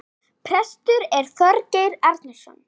Prestur er Þorgeir Arason.